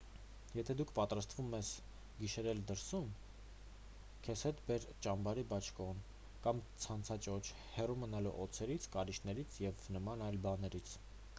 եթե դու պատրաստվում ես գիշերել դրսում քեզ հետ բեր ճամբարի բաճկոն կամ ցանցաճոճ հեռու մնալու օձերից կարիճներից և նման այլ բաներից